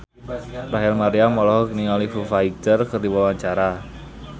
Rachel Maryam olohok ningali Foo Fighter keur diwawancara